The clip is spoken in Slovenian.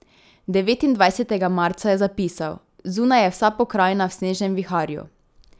Devetindvajsetega marca je zapisal: 'Zunaj je vsa pokrajina v snežnem viharju.